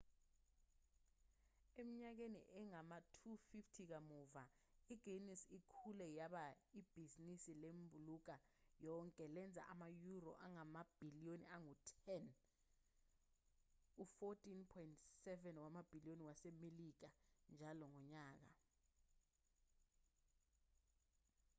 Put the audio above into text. eminyakeni engama-250 kamuva i-guinness ikhule yaba ibhizinisi lembulunga yonke elenza ama-euro angamabhiliyoni angu-10 u-$14.7 wamabhiliyoni wasemelika njalo ngonyaka